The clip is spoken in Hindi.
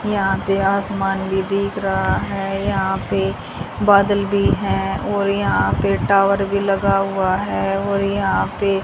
यहां पे आसमान भी दिख रहा हैं यहां पे बादल भी है और यहां पे टॉवर भी लगा हुआ है और यहां पे --